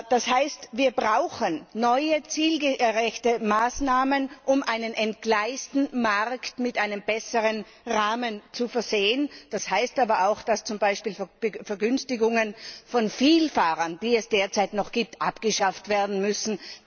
Das heißt, dass wir neue zielgerechte Maßnahmen brauchen, um einen entgleisten geratenen Markt mit einem besseren Rahmen zu versehen. Das heißt aber auch, dass zum Beispiel Vergünstigungen für Vielfahrer, die es derzeit noch gibt, abgeschafft werden müssen.